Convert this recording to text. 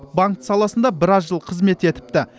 банк саласында біраз жыл қызмет етіпті